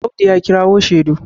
Audu ya kirawo shedu